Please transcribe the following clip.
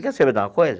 Quer saber de uma coisa?